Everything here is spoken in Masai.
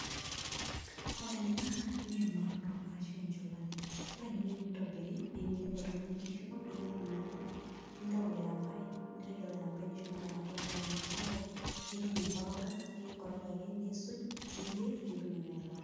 Ore ena naa eng'orrno ashu encholati naa ore enikoni tenitobiri naa ilep oltung'ani niyierr kuna ale nintau ilo airambai nirragie ilo airambai ompaka neeku sapuk nitum aikoroga ninkoroga ake niisuj niyierr nitum ena ilata.